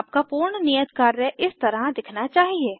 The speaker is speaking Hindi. आपका पूर्ण नियत कार्य इस तरह दिखना चाहिए